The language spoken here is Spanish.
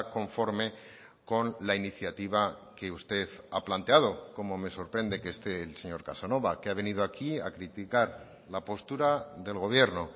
conforme con la iniciativa que usted ha planteado como me sorprende que esté el señor casanova que ha venido aquí a criticar la postura del gobierno